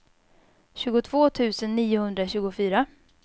tjugotvå tusen niohundratjugofyra